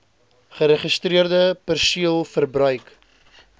geregistreerde perseel verbruik